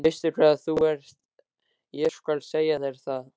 Veistu hvað þú ert, ég skal segja þér það.